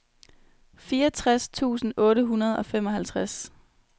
fireogtres tusind otte hundrede og femoghalvtreds